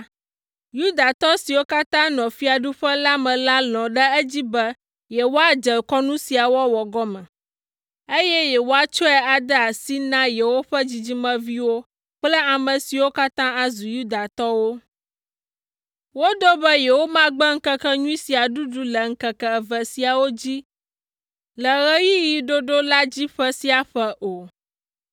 Yudatɔ siwo katã nɔ fiaɖuƒe la me la lɔ̃ ɖe edzi be yewoadze kɔnu sia wɔwɔ gɔme, eye yewoatsɔe ade asi na yewoƒe dzidzimeviwo kple ame siwo katã azu Yudatɔwo. Woɖo be yewomagbe ŋkekenyui sia ɖuɖu le ŋkeke eve siawo dzi le ɣeyiɣi ɖoɖo la dzi ƒe sia ƒe o.